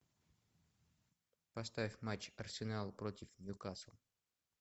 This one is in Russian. поставь матч арсенал против ньюкасл